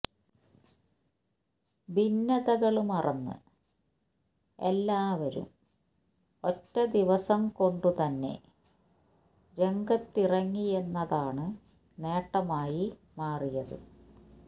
ഭിന്നതകള് മറന്ന് എല്ലാവരും ഒറ്റ ദിവസം കൊണ്ടുതന്നെ രംഗത്തിറങ്ങിയെന്നതാണ് നേട്ടമായി മാറിയത്